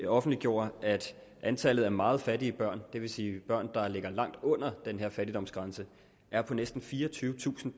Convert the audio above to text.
offentliggjorde at antallet af meget fattige børn det vil sige børn der ligger langt under den her fattigdomsgrænse er på næsten fireogtyvetusind